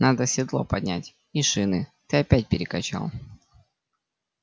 надо седло поднять и шины ты опять перекачал